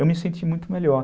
Eu me senti muito melhor.